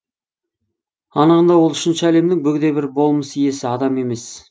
анығында ол үшінші әлемнің бөгде бір болмыс иесі адам емес